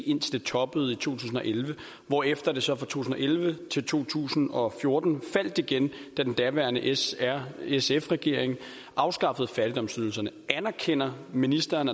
indtil det toppede i to tusind og elleve hvorefter det så fra to tusind og elleve til to tusind og fjorten faldt igen da den daværende s r sf regering afskaffede fattigdomsydelserne anerkender ministeren